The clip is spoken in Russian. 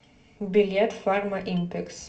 билет фармаимпекс